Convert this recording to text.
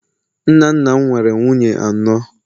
nna nna m nwere nwunye anọ